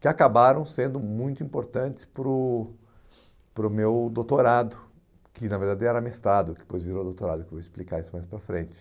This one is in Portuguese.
que acabaram sendo muito importantes para o para o meu doutorado, que na verdade era mestrado, que depois virou doutorado, que eu vou explicar isso mais para frente.